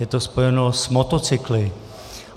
Je to spojeno s motocykly.